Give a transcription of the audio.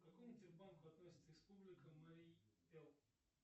к какому тер банку относится республика марий эл